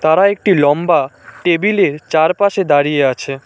তারা একটি লম্বা টেবিলের চারপাশে দাঁড়িয়ে আছে।